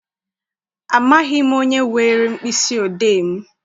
Amaghị m onye were mkpịsị odee m.